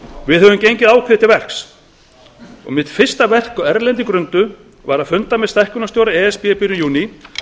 við höfum gengið ákveðið til verks mitt fyrsta verk á erlendri grundu var að funda með stækkunarstjóra e s b í byrjun júní